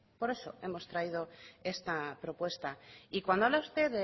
por eso hemos traído esta propuesta y cuando habla usted de